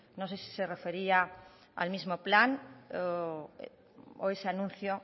no sé si se refería al mismo plan o ese anuncio